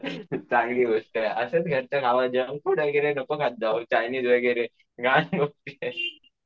चांगली गोष्टये असंच घरचं जंक फूड वगैरे नको खार खात जाऊस चायनीज वगैरे uncelar.